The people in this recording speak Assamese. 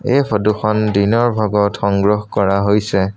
এই ফটোখন দিনৰ ভাগত সংগ্ৰহ কৰা হৈছে।